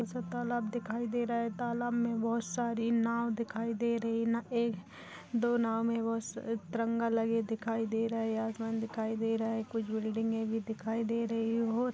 इसमें तालाब दिखाई दे रहा है तालाब में बहुत सारी नाव दिखाई दे रही है ना एक दो नाव में तिरंगा लगे दिखाई दे रहा है आसमान दिखाई दे रहा है कुछ बिल्डिंगे भी दिखी दे रही है।